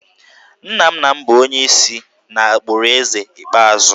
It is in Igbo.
Nna nna m bụ onye si n’agbụrụ Eze ikpeazụ